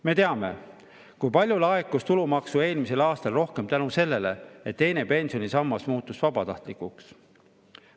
Me teame, kui palju rohkem laekus eelmisel aastal tulumaksu tänu sellele, et teine pensionisammas muutus vabatahtlikuks.